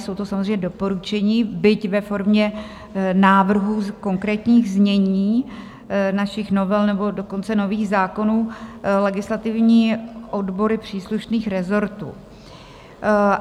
Jsou to samozřejmě doporučení, byť ve formě návrhů konkrétních znění našich novel, nebo dokonce nových zákonů, legislativní odbory příslušných rezortů.